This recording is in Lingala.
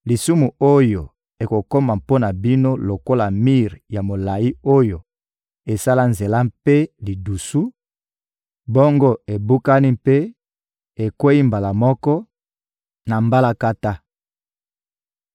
lisumu oyo ekokoma mpo na bino lokola mir ya molayi oyo esala nzela mpe lidusu, bongo ebukani mpe ekweyi mbala moko na mbalakata.